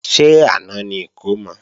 Ṣé àná ni ìkómọ?